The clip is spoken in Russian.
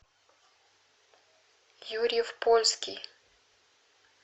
юрьев польский